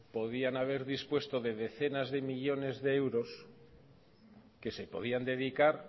podrían haber dispuesto de decenas de millónes de euros que se podían dedicar